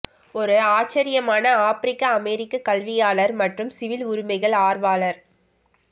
ஒரு ஆச்சரியமான ஆப்பிரிக்க அமெரிக்க கல்வியாளர் மற்றும் சிவில் உரிமைகள் ஆர்வலர்